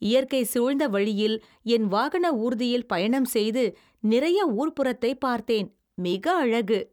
இயற்கை சூழ்ந்த வழியில் என் வாகன ஊர்தியில் பயணம் செய்து நிறைய ஊர்ப்புறத்தைப் பார்த்தேன். மிக அழகு.